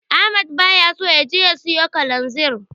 Ahmad baya so ya je ya siyo Kalanzir.